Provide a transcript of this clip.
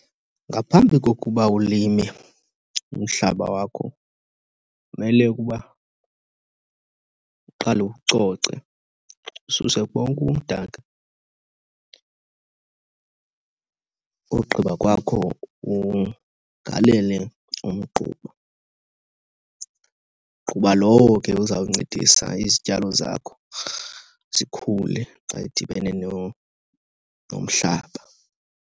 Ngaphambi kokuba ulime umhlaba wakho kumele ukuba uqale uwucoce, ususe bonke ubumdaka. Ugqiba kwakho ugalele umgquba, mgquba lowo ke uzawuncedisa izityalo zakho zikhule xa edibene nomhlaba.